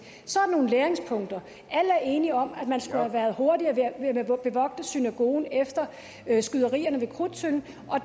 så er der nogle læringspunkter alle er enige om at man skulle have været hurtigere med at bevogte synagogen efter skyderierne ved krudttønden og